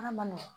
Ala ma nɔgɔn